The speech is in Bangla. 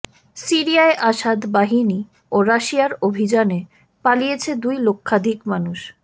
সিরিয়ায় আসাদ বাহিনী ও রাশিয়ার অভিযানে পালিয়েছে দুই লক্ষাধিক মানুষ